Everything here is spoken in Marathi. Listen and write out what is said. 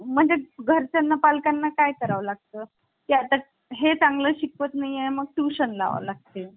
त्याचबरोबर ही तरतूद भारतीय राज्यघटनेच्या प्रास्ताविकेत आहे. म्हणजे प्रश्न असा येईल कि सामाजिक आणि आर्थिक न्याय असा उल्लेख भारतीय राज्यघटनेत कुठे करण्यात आलेला आहे तर तो प्रस्तावनेमध्ये पण आहे